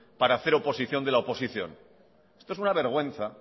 para hacer oposición de la oposición esto es una vergüenza